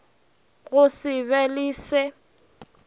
go se be le se